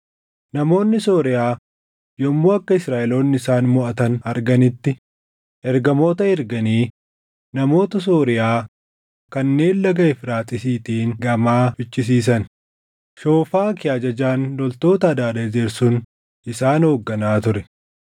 Namoonni Sooriyaa yommuu akka Israaʼeloonni isaan moʼatan arganitti ergamoota erganii namoota Sooriyaa kanneen Laga Efraaxiisiitiin gamaa fichisiisan; Shoofaki ajajaan loltoota Hadaadezer sun isaan hoogganaa ture.